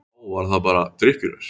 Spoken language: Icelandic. Á, var það bara drykkjuraus?